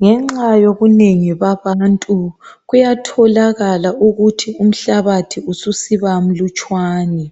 ngenxayibunengi kwabantu kuyatholakala ukuthi umhlabathi ususiba mlutshwane